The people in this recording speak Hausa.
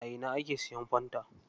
A ina ake siyan fanta?